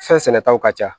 Fɛn sɛnɛtaw ka ca